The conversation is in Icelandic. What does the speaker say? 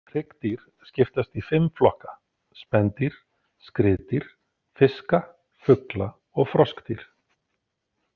Hryggdýr skiptast í fimm flokka, spendýr, skriðdýr, fiska, fugla og froskdýr.